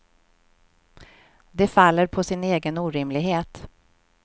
Det faller på sin egen orimlighet.